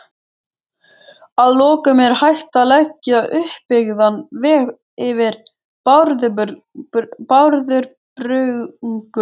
Að lokum: Er hægt að leggja uppbyggðan veg yfir Bárðarbungu?